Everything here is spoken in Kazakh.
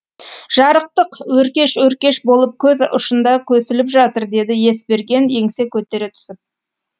жарықтық өркеш өркеш болып көз ұшында көсіліп жатыр деді есберген еңсе көтере түсіп